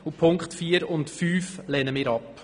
Die Auflagen 4 und 5 lehnen wir ab.